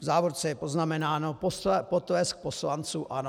V závorce je poznamenáno potlesk poslanců ANO.